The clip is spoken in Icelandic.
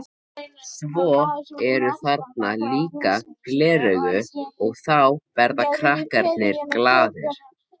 Svo eru þarna líka gleraugu og þá verða krakkarnir glaðir.